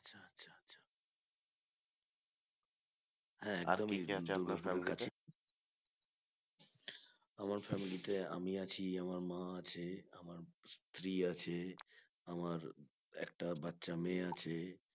আমার family তে আমি আছি আমার মা আছে আমার স্ত্রী আছে আমার একটা বাচ্চা মেয়ে আছে